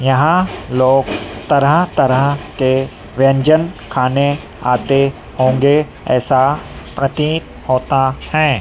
यहां लोग तरह तरह के व्यंजन खाने आते होंगे ऐसा प्रतित होता हैं।